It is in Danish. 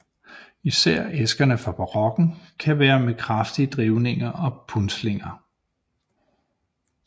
Især æskerne fra barokken kan være med kraftige drivninger og punslinger